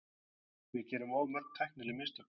Við gerum of mörg tæknileg mistök.